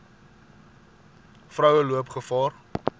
vroue loop gevaar